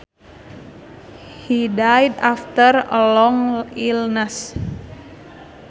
He died after a long illness